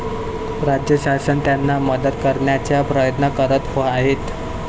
राज्यशासन त्यांना मदत करण्याचा प्रयत्न करत आहेत.